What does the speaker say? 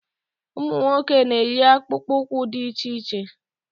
Ụmụ nwoke na-eyi akpụkpụụkwụ dị iche iche